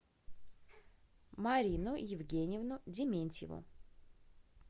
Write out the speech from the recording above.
марину евгеньевну дементьеву